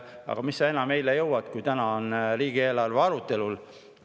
Aga mis sa enam jõuad, kui täna on riigieelarve arutelul.